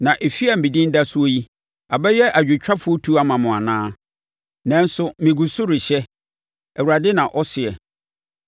Na efie a medin da soɔ yi, abɛyɛ adwotwafoɔ tu ama mo anaa? Nanso megu so rehyɛ! Awurade na ɔseɛ.